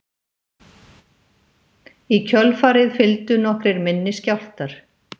Í kjölfarið fylgdu nokkrir minni skjálftar